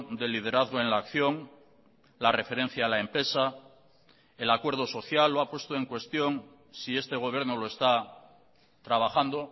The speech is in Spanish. de liderazgo en la acción la referencia a la empresa el acuerdo social lo ha puesto en cuestión si este gobierno lo está trabajando